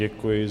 Děkuji.